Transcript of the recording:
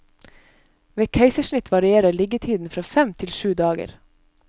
Ved keisersnitt varierer liggetiden fra fem til syv dager.